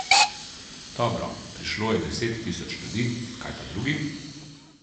Dobro, prišlo je deset tisoč ljudi, kaj pa drugi?